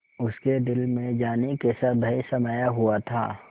उसके दिल में जाने कैसा भय समाया हुआ था